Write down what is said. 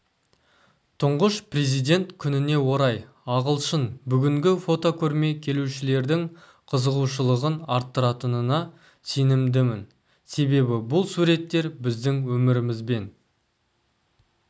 тұңғыш президент күніне орай ашылған бүгінгі фотокөрме келушілердің қызығушылығын арттыратынына сенімдімін себебі бұл суреттер біздің өмірімізбен